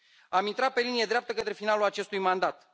Am intrat pe linie dreaptă către finalul acestui mandat.